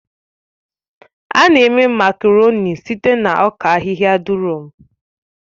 A na-eme Makaroni site na ọka ahịhịa durọ̀m